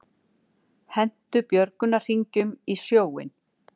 Hentu björgunarhringjum í sjóinn